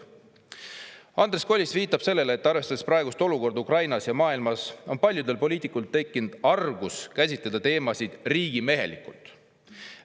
" Andres Kollist viitab sellele, et arvestades praegust olukorda Ukrainas ja maailmas on paljudel poliitikutel tekkinud argus käsitleda teemasid riigimehelikult.